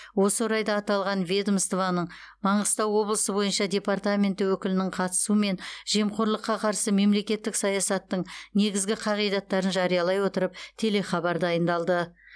осы орайда аталған ведомствоның маңғыстау облысы бойынша департаменті өкілінің қатысуымен жемқорлыққа қарсы мемлекеттік саясаттың негізгі қағидаттарын жариялай отырып телехабар дайындалды